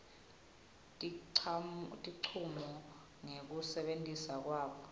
tincumo ngekusebenta kwabo